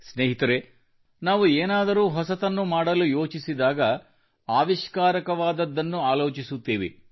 ಸ್ನೇಹಿತರೆ ನಾವು ಏನಾದರೂ ಹೊಸತನ್ನು ಮಾಡಲು ಯೋಚಿಸಿದಾಗ ಆವಿಷ್ಕಾರಕವಾದದ್ದನ್ನು ಆಲೋಚಿಸುತ್ತೇವೆ